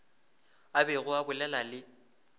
a bego a bolela le